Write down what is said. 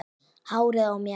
Hárið á mér?